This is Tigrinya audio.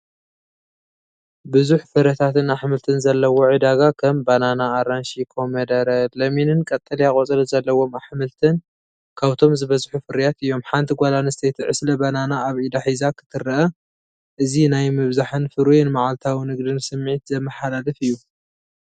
ብዙሕ ፍረታትን ኣሕምልትን ዘለዎ ዕዳጋ፣ ከም ባናና፡ ኣራንሺ፡ ኮሚደረ፡ ለሚንን ቀጠልያ ቆጽሊ ዘለዎም ኣሕምልትን ካብቶም ዝበዝሑ ፍርያት እዮም። ሓንቲ ጓል ኣንስተይቲ ዕስለ ባናና ኣብ ኢዳ ሒዛ ክትረአ። እዚ ናይ ምብዛሕን ፍሩይን መዓልታዊ ንግድን ስምዒት ዘመሓላልፍ እዩ።